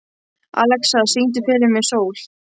Alexa, syngdu fyrir mig „Sól“.